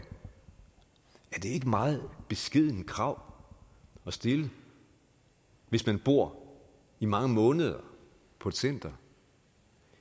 er det ikke et meget beskedent krav at stille hvis man bor i mange måneder på et center